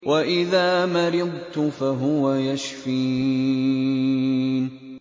وَإِذَا مَرِضْتُ فَهُوَ يَشْفِينِ